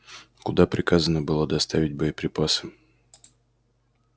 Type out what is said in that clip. куда приказано было доставить боеприпасы